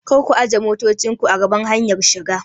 Karku ajiye motocinku a gaban hanyar shiga!